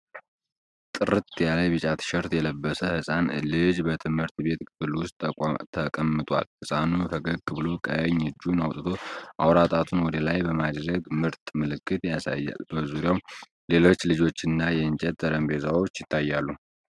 ጥርት ያለ ቢጫ ቲሸርት የለበሰ ህፃን ልጅ በትምህርት ቤት ክፍል ውስጥ ተቀምጧል። ህፃኑ ፈገግ ብሎ ቀኝ እጁን አውጥቶ አውራ ጣቱን ወደ ላይ በማድረግ "ምርጥ" ምልክት ያሳያል። በዙሪያው ሌሎች ልጆችና የእንጨት ጠረጴዛዎች ይታያሉ።